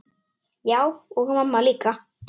Já, og mamma líka.